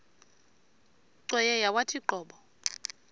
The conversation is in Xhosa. cweya yawathi qobo